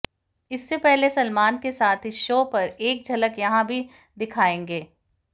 इससे पहले सलमान के साथ इस शो पर एक झलक यहां भी दिखाएंगे